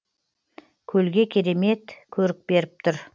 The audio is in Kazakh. көлге керемет көрік беріп тұр